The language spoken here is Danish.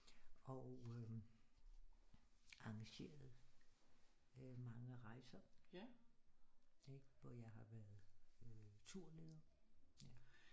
Og øh engageret mange rejser ikke hvor jeg har været turleder